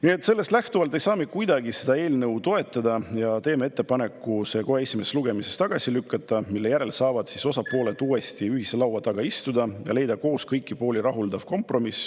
Sellest kõigest lähtuvalt ei saa me kuidagi seda eelnõu toetada ja teeme ettepaneku see kohe esimesel lugemisel tagasi lükata, mille järel saavad osapooled uuesti ühise laua taha istuda ja leida koos kõiki pooli rahuldav kompromiss.